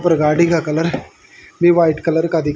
और गाड़ी का कलर भी वाइट कलर का दिख--